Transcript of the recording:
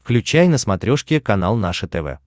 включай на смотрешке канал наше тв